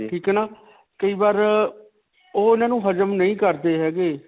ਠੀਕ ਹੈ ਨਾ ਕਈ ਬਾਰ ਅਅ ਓਹ ਇਨ੍ਹਾਂ ਨੂੰ ਹਜਮ ਨਹੀਂ ਕਰਦੇ ਹੈਗੇ.